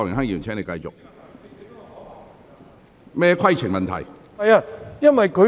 涂議員，你有甚麼規程問題？